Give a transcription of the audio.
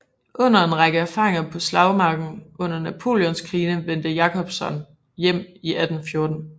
Efter en række erfaringer på slagmarken under Napoleonskrigene vendte Jacobson hjem i 1814